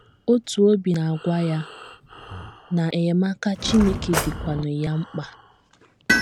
Otu obi na - agwa ya na enyemaka Chineke dịkwanụ ya mkpa.